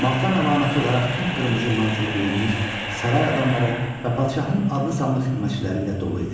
Matəm əlaməti olaraq tünd qırmızı mantiyə geyinmiş saray adamları və padşahın adlı-sanlı xidmətçiləri ilə dolu idi.